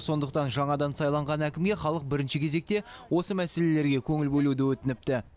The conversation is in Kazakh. сондықтан жаңадан сайланған әкімге халық бірінші кезекте осы мәселелерге көңіл бөлуді өтініпті